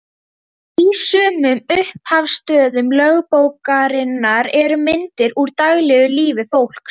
Í sumum upphafsstöfum lögbókarinnar eru myndir úr daglegu lífi fólks.